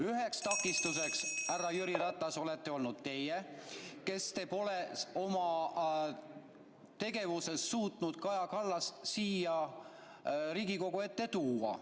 Üheks takistuseks, härra Jüri Ratas, olete olnud teie, kes te pole suutnud Kaja Kallast siia Riigikogu ette tuua.